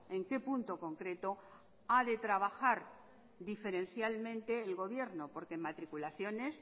en qué punto concreto ha de trabajar diferencialmente el gobierno porque en matriculaciones